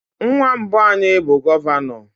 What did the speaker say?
Nwa mbụ anyị bụ gọvanọ.